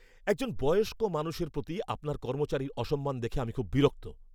একজন বয়স্ক মানুষের প্রতি আপনার কর্মচারীর অসম্মান দেখে আমি খুব বিরক্ত।